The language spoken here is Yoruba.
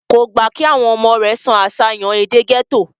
kò gbà kí àwọn ọmọ rẹ̀ sọ àṣàyàn èdè gẹ́tò